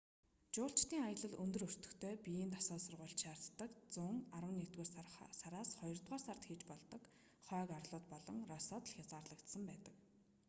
жуулчдын аялал өндөр өртөгтэй биеийн дасгал сургуулилт шаарддаг зун арваннэгдүгээр сараас хоёрдугаар сард хийж болдог хойг арлууд болон россод л хязгаарлагдсан байдаг